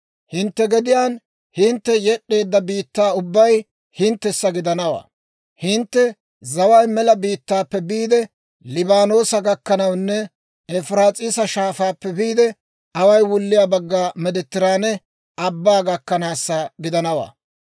Hintte gediyaan hintte yed'd'eedda biittaa ubbay hinttessa gidanawaa. Hintte zaway mela biittaappe biide Liibaanoosa gakkanawunne Efiraas'iisa Shaafaappe biide away wulliyaa bagga Meediteraane Abbaa gakkanaasa gidanawaa.